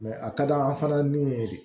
a ka d'an fana n'u ye de